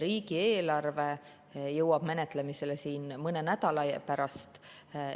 Riigieelarve jõuab menetlemisele mõne nädala pärast.